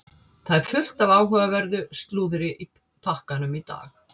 Það er fullt af áhugaverðu slúðri í pakkanum í dag.